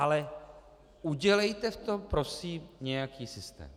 Ale udělejte v tom prosím nějaký systém.